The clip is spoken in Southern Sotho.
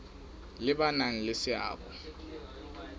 le ba nang le seabo